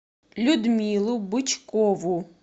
людмилу бычкову